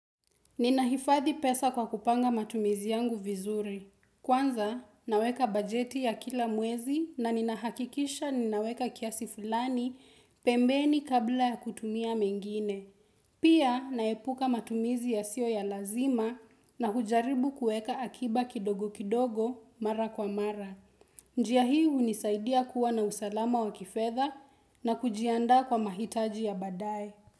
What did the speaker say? Ninahifadhi pesa kwa kupanga matumizi yangu vizuri. Kwanza, naweka bajeti ya kila mwezi na ninahakikisha ninaweka kiasi fulani pembeni kabla ya kutumia mengine. Pia, naepuka matumizi yasio ya lazima na hujaribu kueka akiba kidogo kidogo mara kwa mara. Njia hii unisaidia kuwa na usalama wa kifedha na kujianda kwa mahitaji ya baadae.